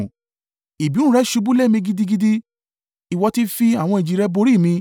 Ìbínú rẹ ṣubú lé mi gidigidi; ìwọ ti fi àwọn ìjì rẹ borí mi.